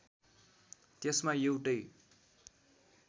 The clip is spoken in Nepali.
त्यसमा एउटै